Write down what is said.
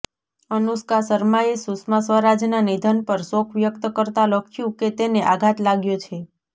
અનુષ્કા શર્માએ સુષ્મા સ્વરાજના નિધન પર શોક વ્યક્ત કરતા લખ્યું કે તેને આઘાત લાગ્યો છે